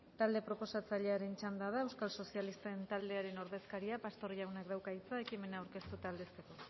talde proposatzailearen txanda da euskal sozialisten taldearen ordezkaria pastor jaunak dauka hitza ekimena aurkeztu eta aldezteko